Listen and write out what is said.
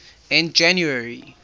in january